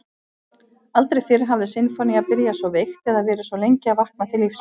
Aldrei fyrr hafði sinfónía byrjað svo veikt eða verið svo lengi að vakna til lífsins.